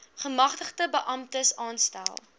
gemagtigde beamptes aanstel